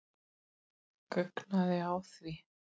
Guggnaði á því.